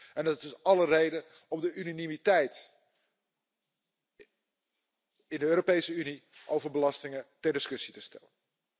Er is dus alle reden om de unanimiteit in de Europese Unie over belastingen ter discussie te stellen.